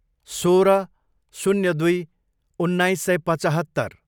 सोह्र, शून्य दुई, उन्नाइस सय पचहत्तर